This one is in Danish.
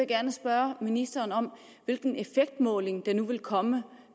gerne spørge ministeren om hvilken effektmåling der nu vil komme